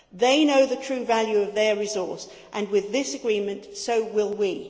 They know the true value of their resource and with this agreement, so will we.